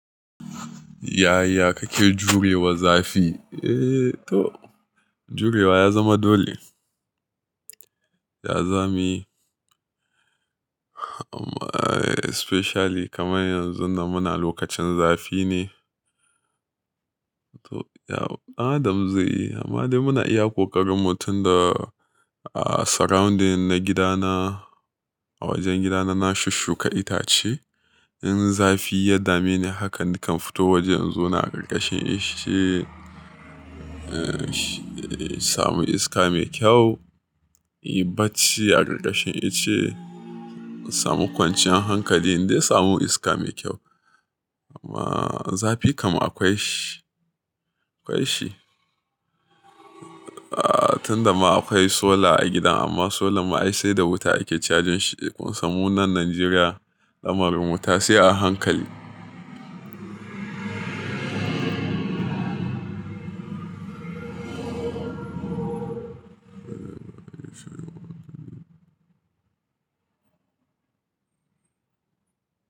Yaya kake jurewa zafi? Eh to jurewa ya zama dole. Ya zamu yi, amma especially kamar yanzu da muna lokacin zafi ne. To ya adam zai yi, amma dai muna iya kokarinmu tunda surrounding na gidana, a wajen gidana na shuka itace. In zafi ya dame ni haka nakan fito waje yanzu na ƙarƙashin ice, uh, samu iska mai kyau. Ibatci a ƙarƙashin ice, samu kwanciyar hankali dai samu iska mai kyau. Amma zafi kam akwai shi, akwai shi. Ah tunda ma akwai solar a gidan amma solar ma ai sai da wuta ake cajin shi. Kun samu nan Nigeria, damarar wuta sai a hankali.